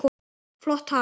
Flott tala.